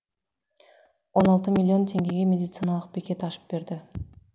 он алты миллион теңгеге медициналық бекет ашып берді